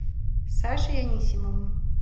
сашей анисимовым